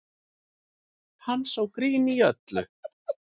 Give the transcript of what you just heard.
Hann sá grín í öllu